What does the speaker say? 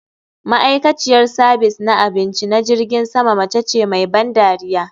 Ma'aikaciyar sabis na abinci na jirgin sama mace ce mai ban dariya